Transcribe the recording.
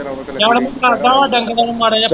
ਚੱਲ ਚੰਗਾ ਮੈਂ ਤੈਨੂੰ ਕਰਦਾ ਡੰਗਰਾਂ ਨੂੰ ਮਾੜਾ ਜਿਹਾ ਪਾਣੀ ਡਾਲਾਂ।